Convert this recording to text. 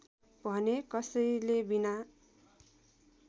भने कसैले बिना